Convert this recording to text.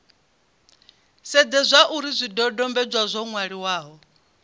sedze zwauri zwidodombedzwa zwo nwaliwaho